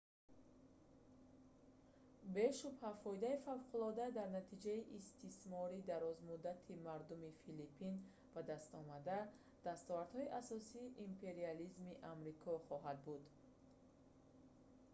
бешубҳа фоидаи фавқулоддаи дар натиҷаи истисмори дарозмуддати мардуми филиппин ба дастомада дастовардҳои асосии империализми амрико хоҳад буд